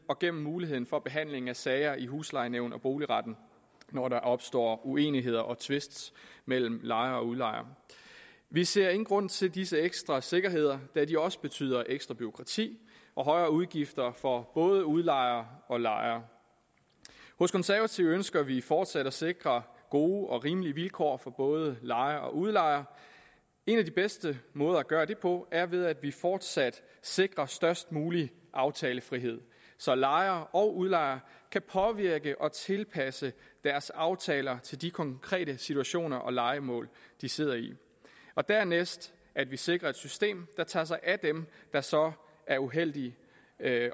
og gennem muligheden for behandling af sager i huslejenævn og boligretten når der opstår uenigheder og tvist mellem lejer og udlejer vi ser ingen grund til disse ekstra sikkerheder da de også betyder ekstra bureaukrati og højere udgifter for både udlejer og lejer hos konservative ønsker vi fortsat at sikre gode og rimelige vilkår for både lejer og udlejer en af de bedste måder at gøre det på er ved at vi fortsat sikrer størst mulig aftalefrihed så lejer og udlejer kan påvirke og tilpasse deres aftaler til de konkrete situationer og lejemål de sidder i og dernæst at vi sikrer et system der tager sig af dem der så er uheldige